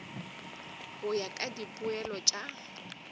go ya ka dipoelo tša